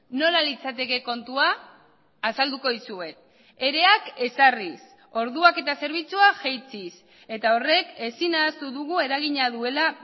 nola litzateke kontua azalduko dizuet ereak ezarriz orduak eta zerbitzua jaitsiz eta horrek ezin ahaztu dugu eragina duela